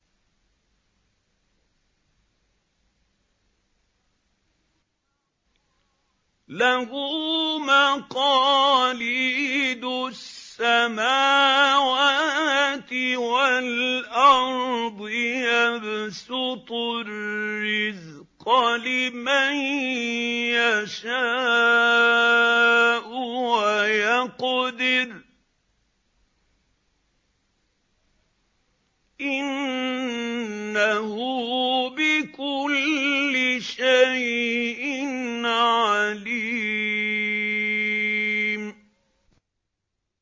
لَهُ مَقَالِيدُ السَّمَاوَاتِ وَالْأَرْضِ ۖ يَبْسُطُ الرِّزْقَ لِمَن يَشَاءُ وَيَقْدِرُ ۚ إِنَّهُ بِكُلِّ شَيْءٍ عَلِيمٌ